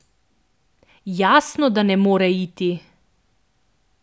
Jasno, da ne more iti.